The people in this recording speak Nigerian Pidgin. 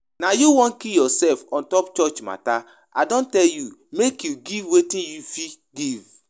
Na you wan kill yourself ontop church matter, I don tell you make you give wetin you fit give